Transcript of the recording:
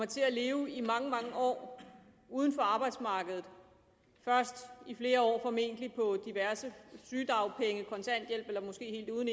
til at leve i mange mange år uden for arbejdsmarkedet først i flere år formentlig på diverse sygedagpenge kontanthjælp eller måske helt uden